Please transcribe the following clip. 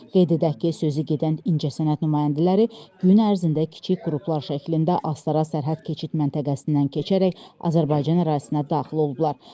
Qeyd edək ki, sözü gedən incəsənət nümayəndələri gün ərzində kiçik qruplar şəklində Astara sərhəd keçid məntəqəsindən keçərək Azərbaycan ərazisinə daxil olublar.